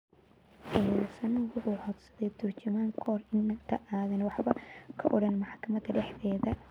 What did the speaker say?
Eedaysanuhu waxa uu codsaday turjumaan ka hor inta aanu waxba ka odhan maxkamadda dhexdeeda.